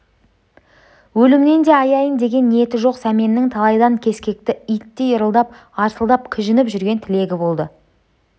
өлімнен де аяйын деген ниеті жоқ сәменнің талайдан кескекті иттей ырылдап арсылдап кіжініп жүрген тілегі болды